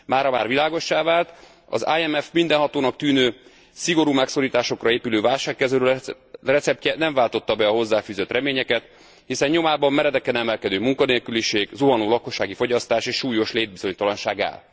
Mára már világossá vált, hogy az IMF mindenhatónak tűnő, szigorú megszorításokra épülő válságkezelő receptje nem váltotta be a hozzá fűzött reményeket, hiszen nyomában meredeken emelkedő munkanélküliség, zuhanó lakossági fogyasztás és súlyos létbizonytalanság áll.